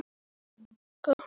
Bara að nóttin liði.